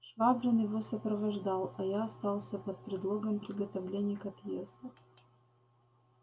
швабрин его сопровождал а я остался под предлогом приготовлений к отъезду